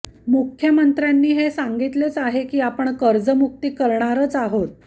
मुख्यमंत्र्यांनी हे सांगितलेच आहे की आपण कर्जमुक्ती करणारच आहोत